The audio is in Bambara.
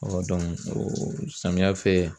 samiyɛ fɛ